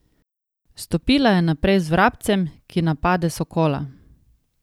Stopila je naprej z Vrabcem, ki napade sokola.